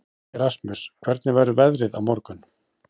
Erasmus, hvernig verður veðrið á morgun?